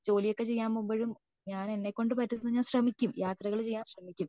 ജോലി ഒക്കെ ചെയ്യുമ്പോഴും ഞാൻ എന്നെകൊണ്ട് പറ്റുന്നത് ഞാൻ ശ്രമിക്കും യാത്രകൾ ചെയ്യാൻ ശ്രമിക്കും